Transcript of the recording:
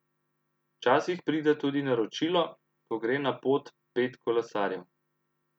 Včasih pride tudi naročilo, ko gre na pot pet kolesarjev.